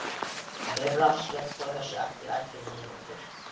Myrra, slökktu á þessu eftir ellefu mínútur.